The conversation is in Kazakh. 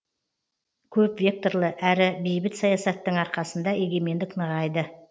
көпвекторлы әрі бейбіт саясаттың арқасында егемендік нығайды